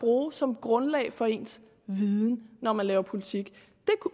bruge som grundlag for ens viden når man laver politik